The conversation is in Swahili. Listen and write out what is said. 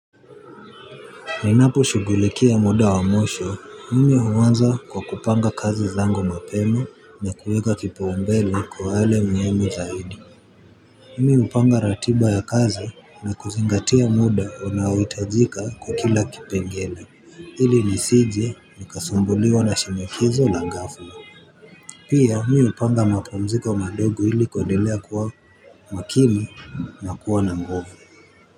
Ninapo shughulikia muda wa mwisho, mimi huanza kwa kupanga kazi zangu mapema na kuweka kipaumbele kwa wale muhimu zaidi. Mimi hupanga ratiba ya kazi na kuzingatia muda unaoitajika kwa kila kipengele. Ili nisije, nikasumbuliwa na shinikizo la gafla. Pia, mimi hupanga mapumziko madogo hili kuendelea kuwa makini na kuwa na nguvu.